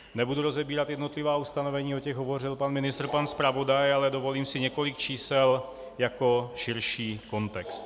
Nebudu rozebírat jednotlivá ustanovení, o těch hovořil pan ministr, pan zpravodaj, ale dovolím si několik čísel jako širší kontext.